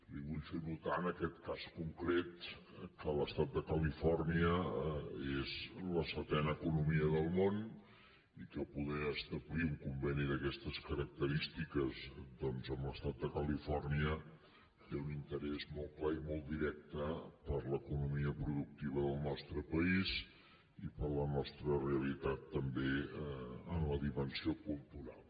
li vull fer notar en aquest cas concret que l’estat de califòrnia és la setena economia del món i que poder establir un conveni d’aquestes característiques doncs amb l’estat de califòrnia té un interès molt clar i molt directe per a l’economia productiva del nostre país i per a la nostra realitat també en la dimensió cultural